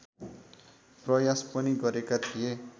प्रयास पनि गरेका थिए